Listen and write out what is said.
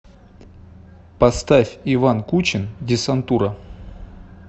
поставь иван кучин десантура